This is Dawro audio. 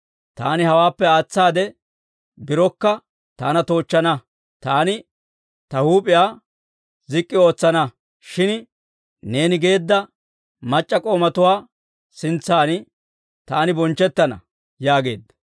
Taani hawaappe aatsaade birokka taana toochchana; taani ta huup'iyaa zik'k'i ootsana. Shin neeni geedda mac'c'a k'oomatuwaa sintsan taani bonchchettana» yaageedda.